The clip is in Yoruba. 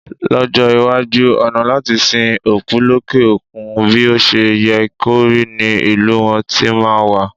Lọ́jọ́ iwájú, ọ̀nà láti sin òkú lókè òkun bí o ṣe yẹ kó rí ní ìlú wọn tí máa wà.